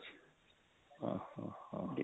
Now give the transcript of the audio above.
ହଁ ହଁ ହଁ